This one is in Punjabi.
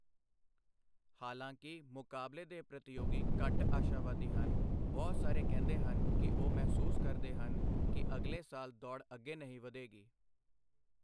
ਹਾਲਾਂਕਿ, ਮੁਕਾਬਲੇ ਦੇ ਪ੍ਰਤੀਯੋਗੀ ਘੱਟ ਆਸ਼ਾਵਾਦੀ ਹਨ, ਬਹੁਤ ਸਾਰੇ ਕਹਿੰਦੇ ਹਨ ਕਿ ਉਹ ਮਹਿਸੂਸ ਕਰਦੇ ਹਨ ਕਿ ਅਗਲੇ ਸਾਲ ਦੌੜ ਅੱਗੇ ਨਹੀਂ ਵਧੇਗੀ।